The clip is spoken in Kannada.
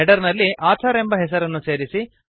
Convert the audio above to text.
ಹೆಡರ್ ನಲ್ಲಿ ಆಥರ್ ಎಂಬ ಹೆಸರನ್ನು ಸೇರಿಸಿ